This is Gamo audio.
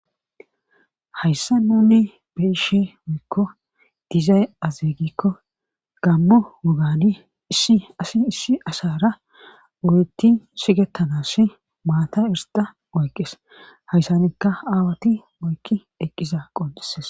Hayssa nuni beishe wuykko dizay azigikko gammo wogani issi asi issi ashara wuritti shigettanas maata irsixa oyqqees hayssanikka aawati oykki eqqiza qodises.